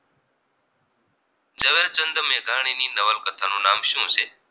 મેઘાણી ની નવલકથાનું નામ શું છે